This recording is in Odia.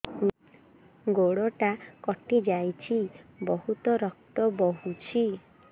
ଗୋଡ଼ଟା କଟି ଯାଇଛି ବହୁତ ରକ୍ତ ବହୁଛି